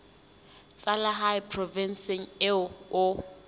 tsa lehae provinseng eo o